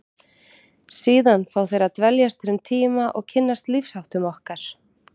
Síðan fá þeir að dveljast hér um tíma og kynnast lífsháttum okkar.